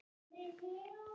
Þetta er frábær stóll.